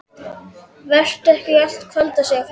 Vertu ekki í allt kvöld að segja fréttirnar.